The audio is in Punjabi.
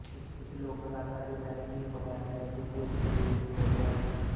ਇਸ ਲੋਕ ਗਾਥਾ ਦੇ ਮੈਥਿਲੀ ਮਗਹੀ ਅਤੇ ਭੋਜਪੁਰੀ ਰੂਪ ਮਿਲਦੇ ਹਨ